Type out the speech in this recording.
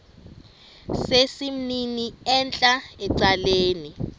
sesimnini entla ecaleni